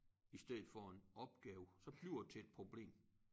I stedet for en opgave så bliver det til et problem